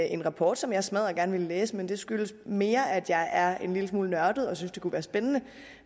en rapport som jeg smaddergerne vil læse men det skyldes mere at jeg er en lille smule nørdet og synes den kunne være spændende